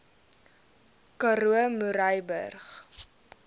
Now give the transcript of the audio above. karoo murrayburg